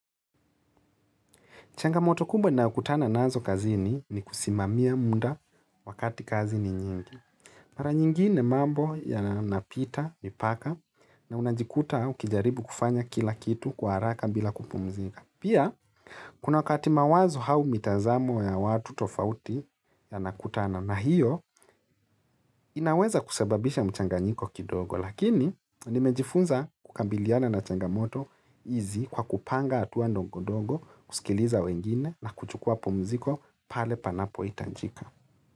Changamoto kubwa ninayo kutana nazo kazini ni kusimamia muda wakati kazi ni nyingi. Mara nyingine mambo yanapita, mipaka, na unajikuta ukijaribu kufanya kila kitu kwa haraka bila kupumzika. Pia, kuna wakati mawazo au mitazamo ya watu tofauti yanakutana na hiyo, inaweza kusababisha mchanganyiko kidogo. Lakini nimejifunza kukabiliana na changamoto hizi kwa kupanga hatua ndongodongo, kusikiliza wengine na kuchukua pumziko pale panapo hitajika.